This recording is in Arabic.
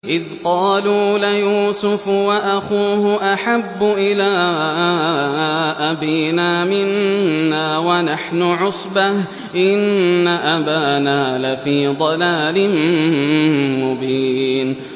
إِذْ قَالُوا لَيُوسُفُ وَأَخُوهُ أَحَبُّ إِلَىٰ أَبِينَا مِنَّا وَنَحْنُ عُصْبَةٌ إِنَّ أَبَانَا لَفِي ضَلَالٍ مُّبِينٍ